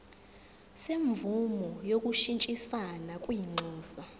semvume yokushintshisana kwinxusa